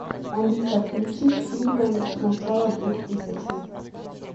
алиса включи фильмы начала двухтысячных